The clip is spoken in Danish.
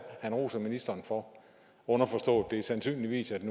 man roser ministeren for underforstået at det sandsynligvis er